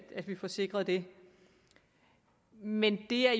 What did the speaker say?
at vi får sikret det men det er